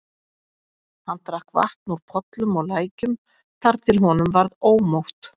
Hann drakk vatn úr pollum og lækjum þar til honum varð ómótt.